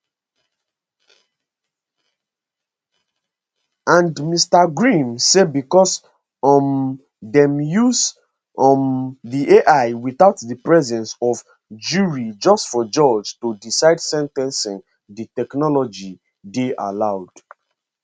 and mr grimm say becos um dem use um di ai witout di presence of jury just for judge to decide sen ten cing di technology dey allowed